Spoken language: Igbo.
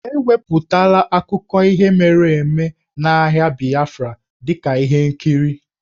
E wepụtala akụkọ ihe mere eme nke agha Biafra dị ka ihe nkiri.